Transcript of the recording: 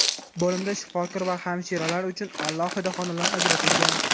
Bo‘limda shifokor va hamshiralar uchun alohida xonalar ajratilgan.